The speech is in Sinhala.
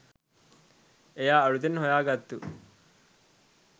එයා අලුතෙන් හොයා ගත්තු